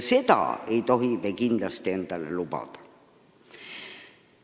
Seda ei tohi me endale kindlasti lubada.